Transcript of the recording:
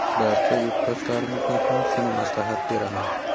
Barcha yurtdoshlarimizga ham shuni maslahat beraman.